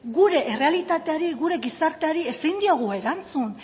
gure errealitateari gure gizarteari ezin diogu erantzun